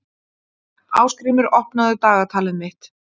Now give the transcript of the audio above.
Ásgrímur, opnaðu dagatalið mitt.